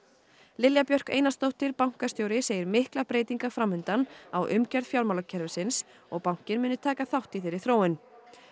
Lilja Björk Einarsdóttir bankastjóri segir miklar breytingar fram undan á umgjörð fjármálakerfisins og bankinn muni taka þátt í þeirri þróun